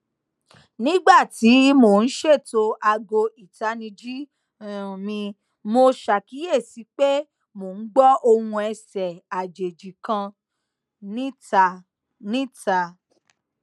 nigba ti mo n ṣeto aago itaniji um mi mo ṣakiyesi pé mò n gbó òhun ẹsẹ àjèjì kan nita nita